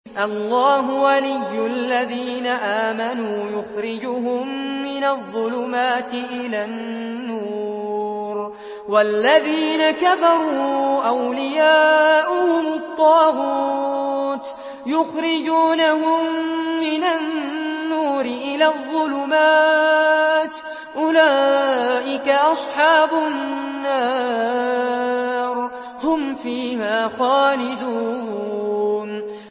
اللَّهُ وَلِيُّ الَّذِينَ آمَنُوا يُخْرِجُهُم مِّنَ الظُّلُمَاتِ إِلَى النُّورِ ۖ وَالَّذِينَ كَفَرُوا أَوْلِيَاؤُهُمُ الطَّاغُوتُ يُخْرِجُونَهُم مِّنَ النُّورِ إِلَى الظُّلُمَاتِ ۗ أُولَٰئِكَ أَصْحَابُ النَّارِ ۖ هُمْ فِيهَا خَالِدُونَ